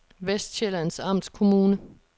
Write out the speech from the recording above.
Vestsjællands Amtskommune